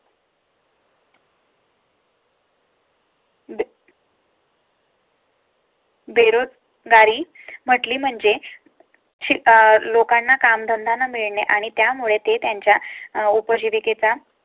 बेरोजगारी म्हटली म्हणजे अं लोकांना काम धंदा न मिळणे आणि त्यामुळे ते त्यांच्या उपजीविके चा